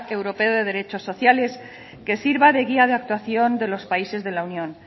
europeo de derechos sociales que sirva de guía de actuación de los países de la unión